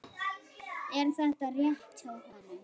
Er þetta rétt hjá honum?